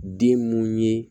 Den mun ye